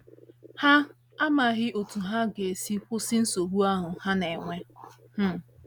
Ha amaghị otú ha ga - esi kwụsị nsogbu ahụ ha na - enwe. um